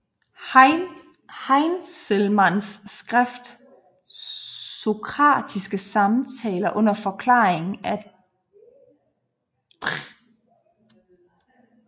Heinzelmanns skrift Sokratiske Samtaler under Forklaringen af Dr